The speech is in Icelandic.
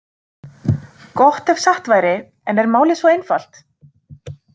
Gott ef satt væri en er málið svo einfalt?